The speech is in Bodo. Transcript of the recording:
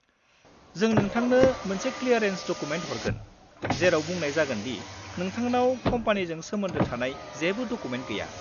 जों नोंथांनो मोनसे क्लियारेन्स डकुमेन्ट हरगोन, जेराव बुंनाय जागोन दि नोंथांनाव कम्पानिजों सोमोन्दो थानाय जेबो डकुमेन्ट गैया।